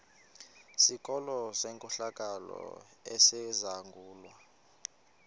sikolo senkohlakalo esizangulwa